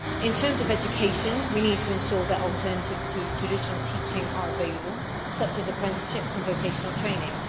In terms of education, we need to ensure that alternatives to traditional teaching are available, such as apprenticeships and vocational training.